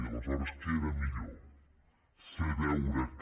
i aleshores què era millor fer veure que